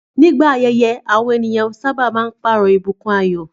Nígbà ayẹyẹ, àwọn ènìyàn sábà máa ń pààrọ̀ ìbùkún ayọ̀.